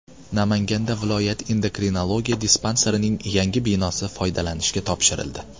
Namanganda viloyat endokrinologiya dispanserining yangi binosi foydalanishga topshirildi.